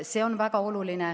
See on väga oluline.